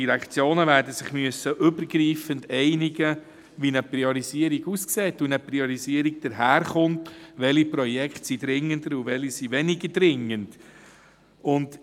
Die Direktionen werden sich übergreifend einigen müssen, wie eine Priorisierung aussehen soll, also welche Projekte dringender und welche weniger dringend sind.